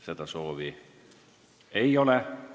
Seda soovi ei ole.